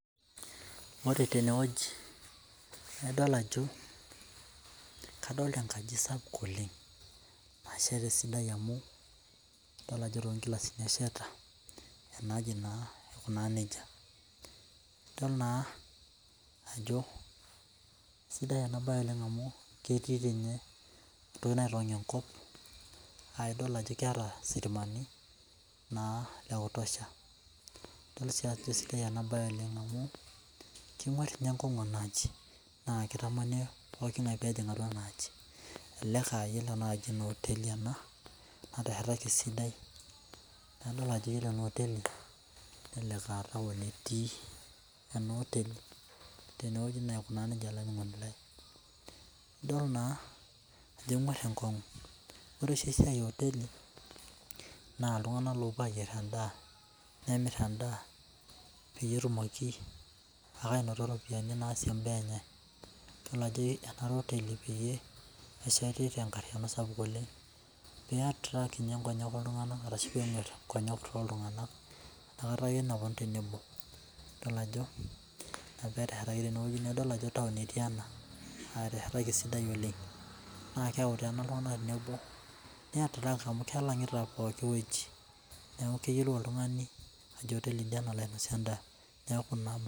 Ore tene wueji naa idol ajo kadoolta enkaji sapuk oleng, nasheta eisidai amu idol ajo too nkilasini esheta, ena aji naa aikunaa nejia. idol naa ajo isidai ena bae oleng amu, ketii sii ninye entoki enkop naa idol ajo keeta sitimani naa lekitosha. esiai sidai ena bae amu kenguar ninye enkongu ena aji. naa kitamani pooki ng'ae pee ejing ena aji. elelek oteli ena, nateshetaki esidai. nadol ajo iyiolo ena otelei melelek aa taon etii. ena oteli aikata nejia olaininingoni lai. idol naa ajo enguar enkongu iyiolo oshi esiai e oteli. naa iltunganak loopuo ayier edaa. enemir edaa. peyie etumoki ake aanoto ropiyiani naasie imbaa enye. kejo ena oteli pee tenkata sapuk oleng. pee e attract ninye nkonyek ooltunganak. inakata ake epuonu tenebo. idol ajo, Ina pee eteshetaki tene wueji .naa idol ajo taon etii ena. eteshetaki esidai oleng. nee keyau iltunganak tenebo ne attract amu kilangita pooki wueji. neeku keyiolou oltungani ajo kinosie edaa.